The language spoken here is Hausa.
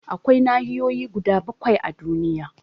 Akwai nahiyoyi guda bakwai a duniya